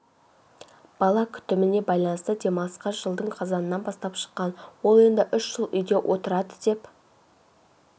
бала күтіміне байланысты демалысқа жылдың қазанынан бастап шыққан ол енді үш жыл үйде отырады деп